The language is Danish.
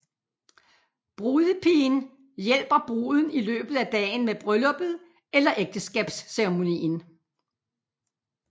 Brudepigen hjælper bruden i løbet af dagen med brylluppet eller ægteskabsceremonien